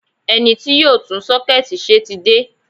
Ẹni tí yóò tún sọ́kẹ́ẹ̀tì ṣe ti dé.